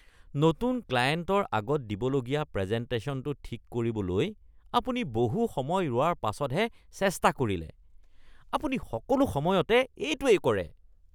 নতুন ক্লায়েণ্টৰ আগত দিবলগীয়া প্ৰেজেণ্টেশ্যনটো ঠিক কৰিবলৈ আপুনি বহু সময় ৰোৱাৰ পাছতহে চেষ্টা কৰিলে। আপুনি সকলো সময়তে এইটোৱেই কৰে।